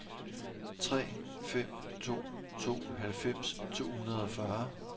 tre fem to to halvfems to hundrede og fyrre